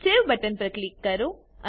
save button પર click કરો